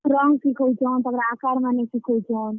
Wrong ଶିଖଉଛନ୍ ତାପରେ ଆକାର୍ ମାନେ ବି ଶିଖଉଛନ୍।